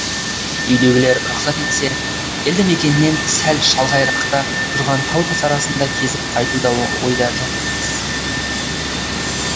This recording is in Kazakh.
үйдегілер рұқсат етсе елді мекеннен сәл шалғайырақта тұрған тау тас арасын да кезіп қайту да ойда жоқ емес